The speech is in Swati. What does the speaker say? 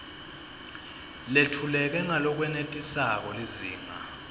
letfuleke ngalokwenetisako lizinga